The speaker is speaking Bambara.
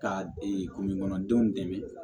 Ka kungokɔnɔdenw dɛmɛ